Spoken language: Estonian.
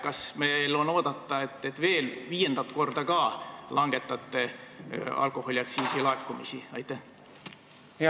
Kas meil on oodata, et te langetate alkoholiaktsiisi laekumise summat veel viiendat korda?